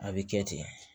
A bɛ kɛ ten